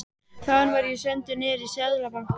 Þaðan var ég sendur niður í Seðlabanka.